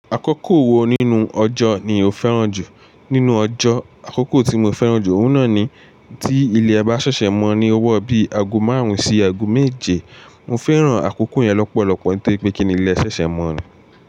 Akókò wo nínú ọjọ́ ni o fẹ́ràn jù? Nínú ọjọ́, àkókò tí mo fẹ́ràn jù ọ̀un nà ni tí ilé bá ṣẹ̀ṣẹ̀ mọ́ ni ọwọ́ bí ago márùn-ún sí ago méje. Mo fẹ́ràn àkókò yẹn lọ́pọ̀lọpọ̀ nítorí pé kíni ilé ṣẹ̀ṣẹ̀ mọ́ ni.